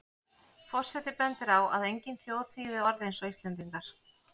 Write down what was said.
Forseti bendir á að engin þjóð þýði orð eins og Íslendingar.